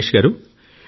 దినేష్ గారూ